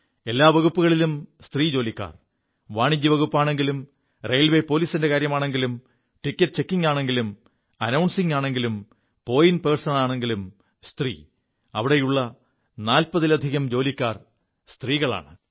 എല്ലാ വകുപ്പുകളിലും സ്ത്രീ ജോലിക്കാർ കൊമേഴ്സ്യൽ വിഭാഗത്തിലാണെങ്കിലും റെയിൽവേ പോലീസിന്റെ കാര്യമാണെങ്കിലും ടിക്കറ്റ് ചെക്കിംഗാണെങ്കിലും അനൌസിംഗിനാണെങ്കിലും പോയിന്റ് പേഴ്സണാണെങ്കിലും സ്ത്രീ അവിടെയുള്ള നാൽപ്പതിലധികം ജോലിക്കാർ സ്ത്രീകളാണ്